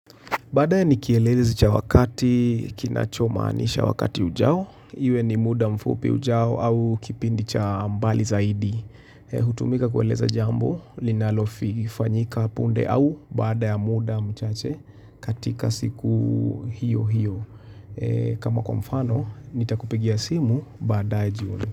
Badae ni kielelezi cha wakati, kinachomanisha wakati ujao. Iwe ni muda mfupi ujao au kipindi cha ambali zaidi. Hutumika kueleza jambo, linalofi, fanyika punde au baada ya muda mchache katika siku hiyo hiyo. Kama kwa mfano, nitakupigia simu badae jioni.